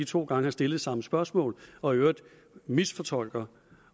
to gange har stillet samme spørgsmål og i øvrigt misfortolker